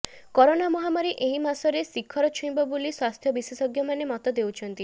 corona ମହାମାରୀ ଏହି ମାସରେ ଶିଖର ଛୁଇଁବ ବୋଲି ସ୍ୱାସ୍ଥ୍ୟ ବିଶେଷଜ୍ଞମାନେ ମତ ଦେଉଛନ୍ତି